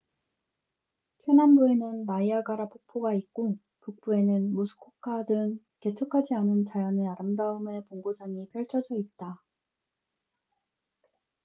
최남부에는 나이아가라niagara 폭포가 있고 북부에는 무스코카muskoka 등 개척하지 않은 자연의 아름다움의 본고장이 펼쳐져 있다